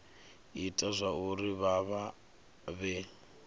ita zwauri vha vha vhe